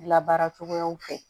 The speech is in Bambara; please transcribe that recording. Labaara cogoyaw fɛ